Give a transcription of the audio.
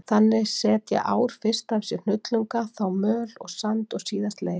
Þannig setja ár fyrst af sér hnullunga, þá möl og sand og síðast leir.